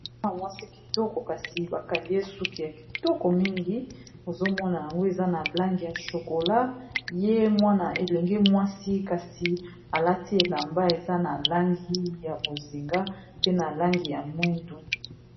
Mwana mwasi kitoko kasi bakangi ye suki ya kitoko mingi ozomona yango eza na langi ya shokola ye mwana elenge mwasi kasi alati elamba eza na langi ya bozinga pe na langi ya mwindu.